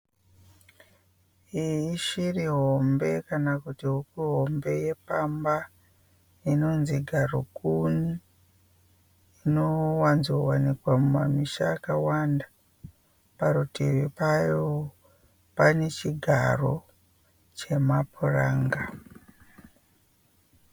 Iyi ishiri hombe kana kuti huku hombe yepamba inonzi garukuni. Inowanzo wanikwa mumamisha akawanda. Parutivi payo pane chigaro chemapuranga.